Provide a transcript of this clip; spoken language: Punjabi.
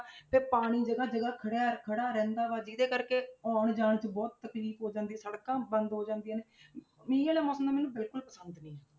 ਫਿਰ ਪਾਣੀ ਜਗ੍ਹਾ ਜਗ੍ਹਾ ਖੜਿਆ ਖੜਾ ਰਹਿੰਦਾ ਵਾ ਜਿਹਦੇ ਕਰਕੇ ਆਉਣ ਜਾਣ 'ਚ ਬਹੁਤ ਤਕਲੀਫ਼ ਹੋ ਜਾਂਦੀ, ਸੜਕਾਂ ਬੰਦ ਹੋ ਜਾਂਦੀਆਂ ਨੇ ਮੀਂਹ ਵਾਲਾ ਮੌਸਮ ਤਾਂ ਮੈਨੂੰ ਬਿਲਕੁਲ ਪਸੰਦ ਨੀ ਹੈ।